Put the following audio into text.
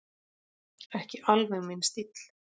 Ekki alveg minn stíll